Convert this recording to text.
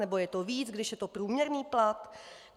Nebo je to víc, když je to průměrný plat?